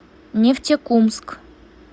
нефтекумск